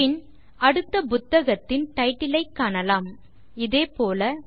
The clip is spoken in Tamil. பின் அடுத்த புத்தகத்தின் டைட்டில் ஐ காணலாம் இதே போல